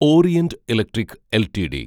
orient Electric LTD